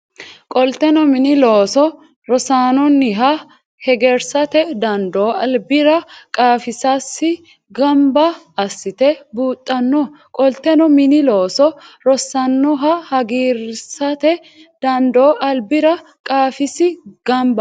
Qolteno mini loosi rosaanonniha hegersate dandoo albira qaafisasi gamba assite buuxxanno Qolteno mini loosi rosaanonniha hegersate dandoo albira qaafisasi gamba.